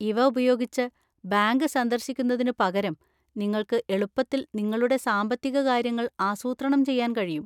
ഇവ ഉപയോഗിച്ച്, ബാങ്ക് സന്ദർശിക്കുന്നതിനുപകരം നിങ്ങൾക്ക് എളുപ്പത്തിൽ നിങ്ങളുടെ സാമ്പത്തിക കാര്യങ്ങൾ ആസൂത്രണം ചെയ്യാൻ കഴിയും.